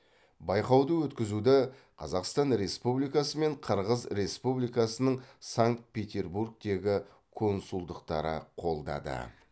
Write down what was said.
байқауды өткізуді қазақстан республикасы мен қырғыз республикасының санкт петербургтегі консулдықтары қолдады